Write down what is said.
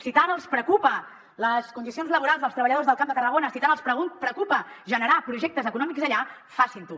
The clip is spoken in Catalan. si tant els preocupa les condicions laborals dels treballadors del camp de tarragona si tant els preocupa generar projectes econòmics allà facin ho